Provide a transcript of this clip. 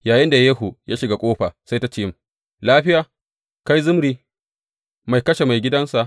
Yayinda Yehu ya shiga ƙofa, sai ta ce, Lafiya, kai Zimri, mai kashe maigidansa?